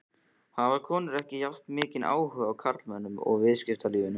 Hafa konur ekki jafnmikinn áhuga og karlmenn á viðskiptalífinu?